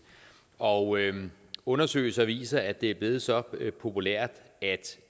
og undersøgelser viser at det er blevet så populært at